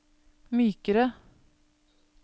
mykere